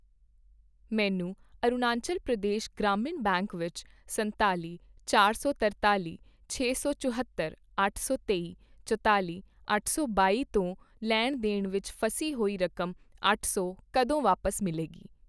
ਮੈਨੂੰ ਅਰੁਣਾਚੱਲ ਪ੍ਰਦੇਸ਼ ਗ੍ਰਾਮੀਣ ਬੈਂਕ ਵਿੱਚ ਸੰਤਾਲੀ, ਚਾਰ ਸੌ ਤਰਤਾਲੀ, ਛੇ ਸੌ ਚੁਹੱਤਰ, ਅੱਠ ਸੌ ਤੇਈ, ਚੁਤਾਲੀ, ਅੱਠ ਸੌ ਬਾਈ ਤੋਂ ਲੈਣ ਦੇਣ ਵਿੱਚ ਫਸੀ ਹੋਈ ਰਕਮ ਅੱਠ ਸੌ ਕਦੋਂ ਵਾਪਸ ਮਿਲੇਗੀ?